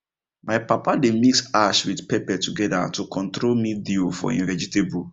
my papa dey mix ash with pepper together to control mildew for him vegetable